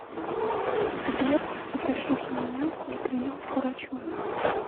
сбер запишите меня на прием к врачу